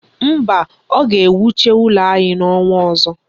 Mba, a ga-ewucha ụlọ anyị ọnwa ọzọ.